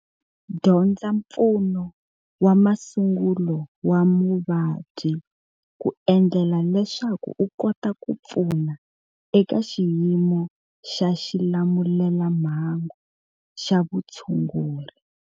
Dyondza mpfuno wa masungulo wa muvabyi ku endlela leswaku u kota ku pfuna eka xiyimo xa xilamulelamhangu xa vutshunguri.